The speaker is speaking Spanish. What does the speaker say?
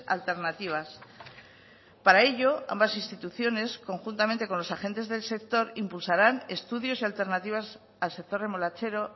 alternativas para ello ambas instituciones conjuntamente con los agentes del sector impulsarán estudios y alternativas al sector remolachero